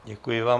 Děkuji vám.